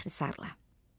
İxtisarla.